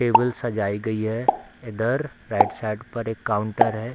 Table सजाई गई है इधर राइट साइड पर एक काउंटर है।